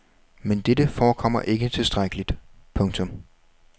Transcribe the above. Men dette forekommer ikke tilstrækkeligt. punktum